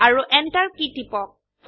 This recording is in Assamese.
আৰু এন্টাৰ কী টিপক